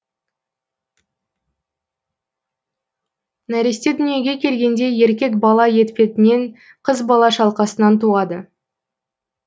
нәресте дүниеге келгенде еркек бала етпетіен қыз бала шалқасынан туады